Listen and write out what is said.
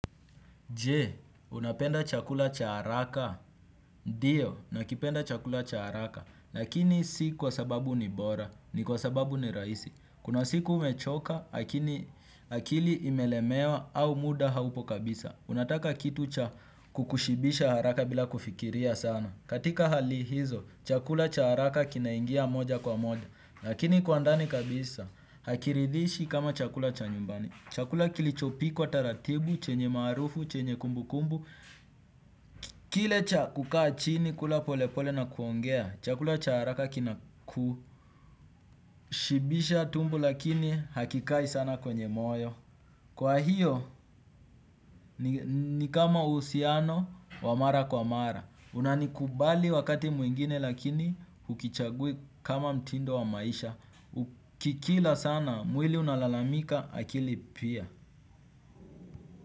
Je, unapenda chakula cha haraka, ndiyo, nakipenda chakula cha haraka, lakini si kwa sababu ni bora, ni kwa sababu ni rahisi. Kuna siku umechoka, akili akili imelemewa au muda haupo kabisa, unataka kitu kukushibisha haraka bila kufikiria sana. Katika hali hizo, chakula cha haraka kinaingia moja kwa moja, lakini kwa ndani kabisa, hakiridhishi kama chakula cha nyumbani. Chakula kilichopikwa taratibu, chenye maarufu, chenye kumbukumbu kile cha kukaa chini, kula pole pole na kuongea. Chakula cha haraka kinakushibisha tumbo lakini hakikai sana kwenye moyo. Kwa hiyo, ni kama uhusiano, wa mara kwa mara. Unanikubali wakati mwingine lakini hukichagui kama mtindo wa maisha. Ukikila sana, mwili unalalamika, akili pia.